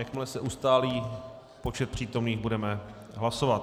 Jakmile se ustálí počet přítomných, budeme hlasovat.